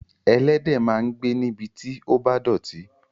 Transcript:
Ẹlẹ́dẹ̀ máa ń gbé níbi tí ó bá dọ̀tí.